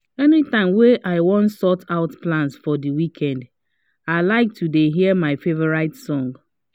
any time wey i wan sort out plans for the weekend i lke to dey hear my favorite songs